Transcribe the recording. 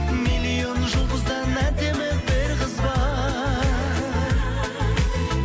миллион жұлдыздан әдемі бір қыз бар